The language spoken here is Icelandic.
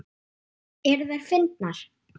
Eru þær fyndnar?